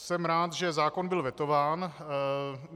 Jsem rád, že zákon byl vetován.